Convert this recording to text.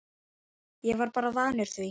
Ég er bara vanur því